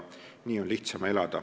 Nii on lihtsam elada.